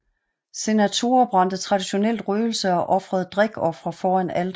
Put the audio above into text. Senatorer brændte traditionelt røgelse og ofrede drikofre foran alteret